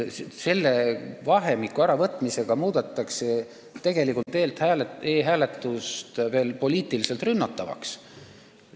Selle ärakaotamisega muudetakse e-hääletus poliitiliselt rünnatavaks.